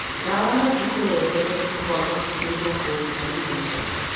Ndawa no cikũrehere kwaga mwĩhoko harĩ maica.